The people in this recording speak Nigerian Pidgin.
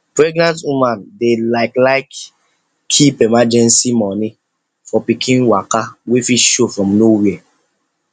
pregenant women dey like like keep emergency money for pikin waka wey fit show from nowhere